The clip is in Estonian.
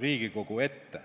Riigikogu ette.